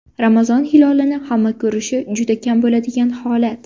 Ramazon hilolini hamma ko‘rishi juda kam bo‘ladigan holat.